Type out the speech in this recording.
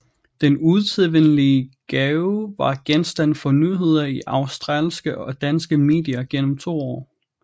Den usædvanlige gave var genstand for nyheder i australske og danske medier gennem to år